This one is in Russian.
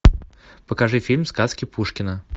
покажи фильм сказки пушкина